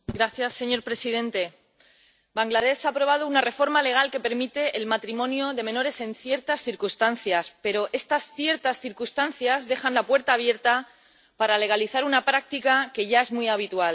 Señor presidente, Bangladés ha aprobado una reforma legal que permite el matrimonio de menores en ciertas circunstancias, pero estas ciertas circunstancias dejan la puerta abierta para legalizar una práctica que ya es muy habitual.